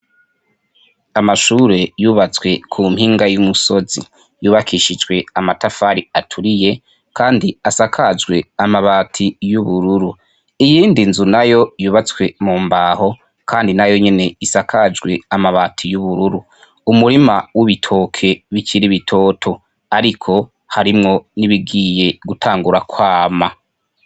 Amashure yubatswe ku mpinga y'umusozi yubakishijwe amatafari aturiye, kandi asakajwe amabati y'ubururu iyindi nzu na yo yubatswe mu mbaho, kandi na yo nyene isakajwe amabati y'ubururu umurima w'ibitoke b'ikiribitoto, ariko harimwo nibigiye gutangura kwama.